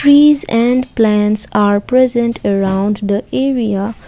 trees and plants are present around the area.